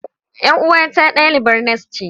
Yar uwata dalibar nas ce.